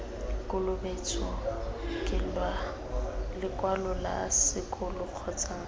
kolobetso lekwalo la sekolo kgotsa